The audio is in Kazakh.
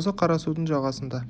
осы қарасудың жағасында